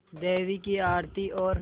देवी की आरती और